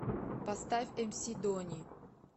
поставь эмси дони